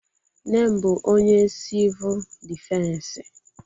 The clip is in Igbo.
Nne m bụ onye sivul dịfensi